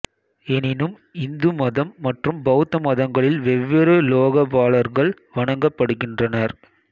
எனினும் இந்து மதம் மற்று பௌத்த மதங்களில் வெவ்வேறு லோகபாலர்கள் வணங்கப்படுகின்றனர்